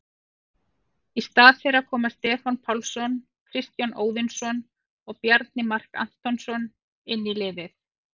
Í stað þeirra koma Stefán Pálsson, Kristján Óðinsson og Bjarni Mark Antonsson inn í liðið.